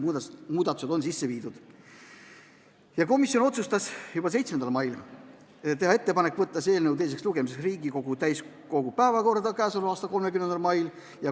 Komisjon tegi juba 7. mail ettepaneku, et kui esimene lugemine 27. mail lõpetatakse, siis võtta eelnõu teiseks lugemiseks Riigikogu täiskogu päevakorda k.a 30. mail.